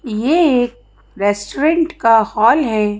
यह एक रेस्टोरेंट का हॉल है।